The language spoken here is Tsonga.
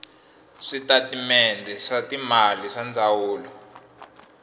switatimende swa timali swa ndzawulo